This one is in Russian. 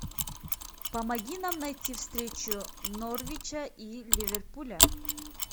помоги нам найти встречу норвича и ливерпуля